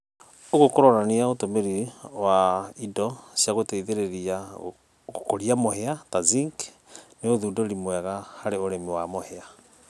ũgũo kũronanĩa atĩ ũtũmĩrĩ wa ĩndo cĩa gũteĩthĩrĩrĩa gũkũrĩa mũhĩa ta zĩnkĩ nĩ ũthũndũrĩ mwega harĩ ũrĩmĩ wa mũhĩa